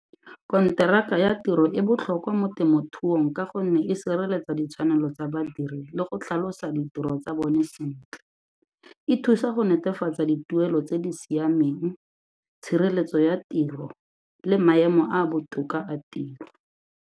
Konteraka ya tiro e botlhokwa mo temothuong ka gonne e sireletsa ditshwanelo tsa badiri le go tlhalosa ditiro tsa bone sentle, e thusa go netefatsa dituelo tse di siameng, tshireletso ya tiro le maemo a a botoka a tiro.